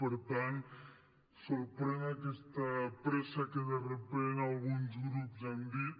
per tant sorprèn aquesta pressa que de sobte alguns grups han dit